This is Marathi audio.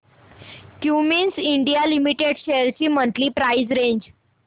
क्युमिंस इंडिया लिमिटेड शेअर्स ची मंथली प्राइस रेंज